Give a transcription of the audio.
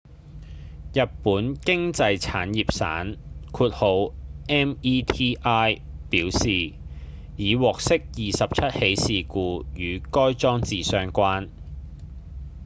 日本經濟產業省 meti 表示已獲悉27起事故與該裝置相關